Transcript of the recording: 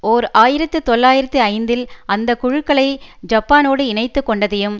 ஓர் ஆயிரத்தி தொள்ளாயிரத்தி ஐந்தில் அந்த குழுக்களை ஜப்பானோடு இணைத்துக்கொண்டதையும்